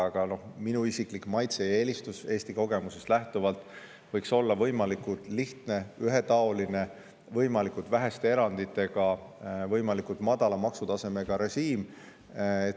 Aga minu isiklik maitse-eelistus Eesti kogemusest lähtuvalt on see, et võiks olla võimalikult lihtne ja ühetaoline, võimalikult väheste eranditega ning võimalikult madala maksutasemega režiim.